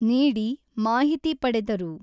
ನೀಡಿ, ಮಾಹಿತಿ ಪಡೆದರು.